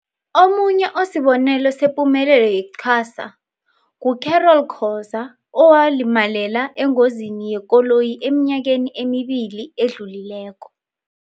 Omunye osibonelo sepumelelo ye-QASA ngu-Carol Khoza, owalimalela engozini yekoloyi eminyakeni emibili edlulileko.